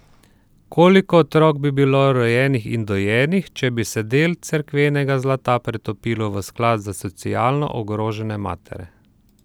Koliko otrok bi bilo rojenih in dojenih, če bi se del cerkvenega zlata pretopilo v sklad za socialno ogrožene matere?